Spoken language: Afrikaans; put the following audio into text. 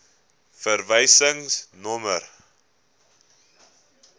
verwysingsnommer